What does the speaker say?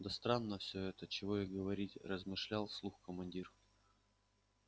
да странно все это чего и говорить размышлял вслух командир